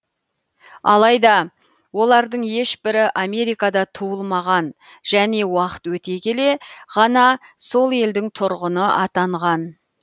алайда олардың ешбірі америкада туылмаған және уақыт өте келе ғана сол елдің тұрғыны атанған